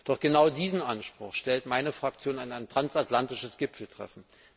Doch genau diesen Anspruch stellt meine Fraktion an ein transatlantisches Gipfeltreffen.